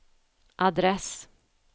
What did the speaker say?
adress